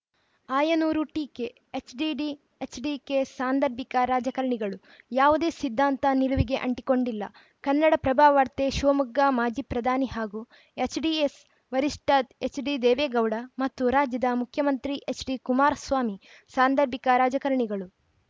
ಆಯನೂರು ಟೀಕೆ ಎಚ್‌ಡಿಡಿ ಎಚ್‌ಡಿಕೆ ಸಾಂದರ್ಭಿಕ ರಾಜಕಾರಣಿಗಳು ಯಾವುದೇ ಸಿದ್ಧಾಂತ ನಿಲುವಿಗೆ ಅಂಟಿಕೊಂಡಿಲ್ಲ ಕನ್ನಡಪ್ರಭವಾರ್ತೆ ಶಿವಮೊಗ್ಗ ಮಾಜಿ ಪ್ರಧಾನಿ ಹಾಗೂ ಜೆಡಿಎಸ್‌ ವರಿಷ್ಠ ಎಚ್‌ಡಿದೇವೇಗೌಡ ಮತ್ತು ರಾಜ್ಯದ ಮುಖ್ಯಮಂತ್ರಿ ಎಚ್‌ಡಿಕುಮಾರಸ್ವಾಮಿ ಸಾಂದರ್ಭಿಕ ರಾಜಕಾರಣಿಗಳು